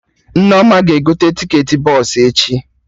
Nneoma ga-egote ticketị bọsụ echi